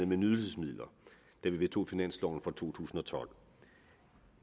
med nydelsesmidler da vi vedtog finansloven for to tusind og tolv